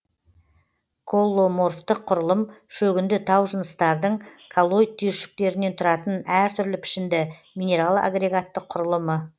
колломорфтық құрылым шөгінді тау жынысытардың коллоид түйіршіктерінен тұратын әр түрлі пішінді минерал агрегаттық құрылымы